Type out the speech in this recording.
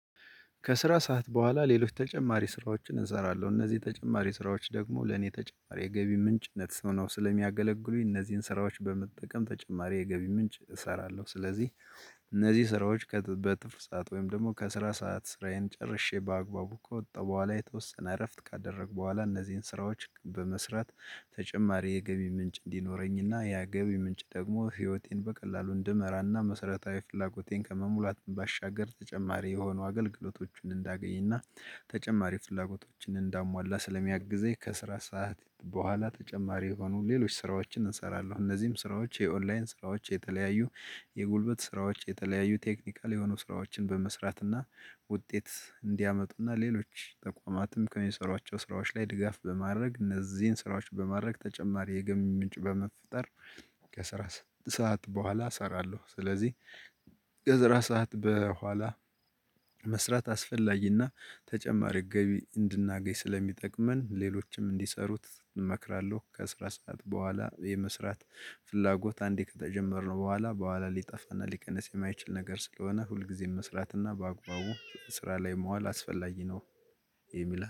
ከስራ ሰዓት በኋላ ሌሎች ተጨማሪ ስራዎችን እሰራለሁ እነዚህ ተጨማሪ ስራዎች ደግሞ ለኔ ተጨማሪ የገቢ ምንጭነት ሆነው ስለሚያገለግሉኝ እነዚህን ስራዎች በመጠቀም ተጨማሪ የገቢ ምንጭ እሰራለሁ። ስለዚህ እነዚህ ስራዎች በትርፍ ሰዓት ወይም ደግሞ ከስራ ሰዓት ስራዬን ጨርሼ በአግባቡ ከወጣ በኋላ የተወሰነ እረፍት ካደረግኩ በኋላ እነዚህን ስራዎች በመስራት ተጨማሪ የገቢ ምንጭ እንዲኖረኝና ያ ገቢ ምንጭ ደግሞ ህይወቴን በቀላሉ እንድመራና መሰረታዊ ፍላጎቴን ከመሙላትም ባሻገር ተጨማሪ የሆኑ አገልግሎቶቹን እንዳገኝና ተጨማሪ ፍላጎቶችን እንዳሟላ ስለሚያግዘኝ ከስራ ሰዓት በኋላ ተጨማሪ የሆኑ ሌሎች ስራዎችን እንሰራለን። እነዚህም ስራዎች የኦንላይን ስራዎች የተለያዩ የጉልበት ስራዎች የተለያዩ ቴክኒካል የሆኑ ስራዎችን በመስራት እና ውጤት እንዲያመጡና ሌሎች ተቋማትም ከሚሰሩዋቸው ስራዎች ላይ ድጋፍ በማድረግ እነዚህን ስራዎች በማድረግ ተጨማሪ የገሚ ምንጭ በመፍጠር ከስራ ሰዓት በኋላ እሰራለሁ። ስለዚህ ከስራ ሰዓት በኋላ መስራት አስፈላጊና ተጨማሪ ገቢ እንድናገኝ ስለሚጠቅመን ሌሎችም እንዲሰሩት እመክራለሁ። ከስራ ሰዓት በኋላ የመስራት ፍላጎት አንዴ ከጀመርነው በኋላ በኋላ ሊጠፋና ሊቀንስ የማይችል ነገር ስለሆነ ሁልጊዜም መስራትና በአግባቡ ስራ ላይ መዋል አስፈላጊ ነው። ይላል